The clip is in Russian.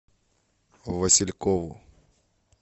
василькову